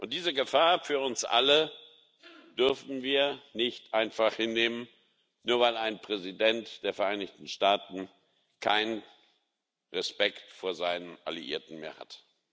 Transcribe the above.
Diese Gefahr für uns alle dürfen wir nicht einfach hinnehmen, nur weil ein Präsident der Vereinigten Staaten keinen Respekt vor seinen Alliierten mehr hat.